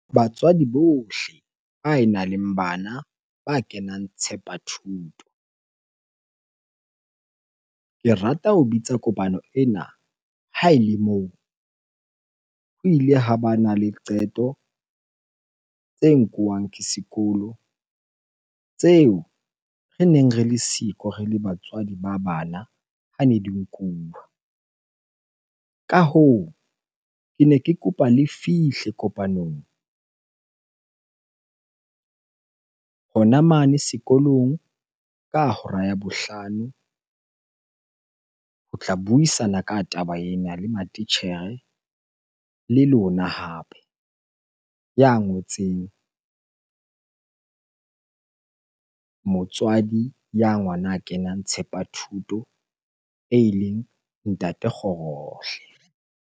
Batswadi bohle ba e nang le bana ba kenang Tshepathuto. Ke rata ho bitsa kopano ena ha ele moo ho ile ha bana le qeto tse nkuwang ke sekolo tseo re neng re le siko re le batswadi ba bana hane di nkuwa. Ka hoo, kene ke kopa le fihle kopanong hona mane sekolong ka hora ya bohlano ho tla buisana ka taba ena le matitjhere le lona hape. Ya ngotseng, motswadi ya ngwana a kenang Tshepathuto eleng Ntate Kgorohle.